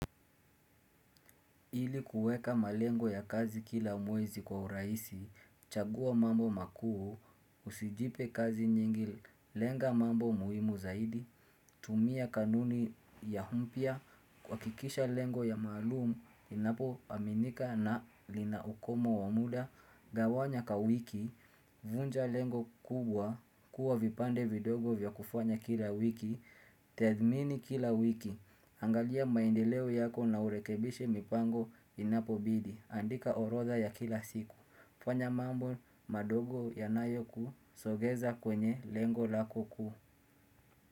Ili kuweka malengo ya kazi kila mwezi kwa uraisi, chagua mambo makuu, usijipe kazi nyingi, lenga mambo muhimu zaidi, tumia kanuni ya mpya, kuhakikisha lengo ya maalumu, linapo aminika na lina ukomo wa muda, gawanya ka wiki, vunja lengo kubwa, kuwa vipande vidogo vya kufanya kila wiki, tethmini kila wiki. Angalia maendeleo yako na urekebishe mipango inapobidi. Andika orodha ya kila siku. Fanya mambo madogo yanayoku sogeza kwenye lengo lakoku.